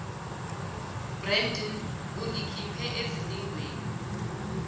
brendon ungikhiphe ezilingweni